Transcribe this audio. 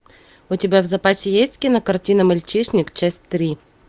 у тебя в запасе есть кинокартина мальчишник часть три